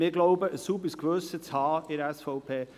Wir glauben ein sauberes Gewissen zu haben in der SVP.